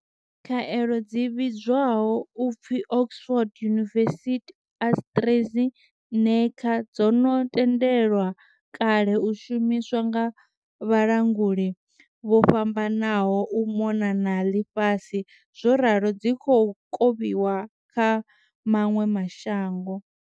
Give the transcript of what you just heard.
Khaelo dzi vhidzwaho u pfi Oxford University-AstraZeneca dzo no tendelwa kale u shumiswa nga vhalanguli vho fhambananaho u mona na ḽifhasi zworalo dzi khou kovhiwa kha maṅwe ma shango.